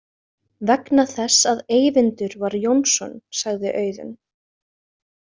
Vegna þess að Eyvindur var Jónsson, sagði Auðunn.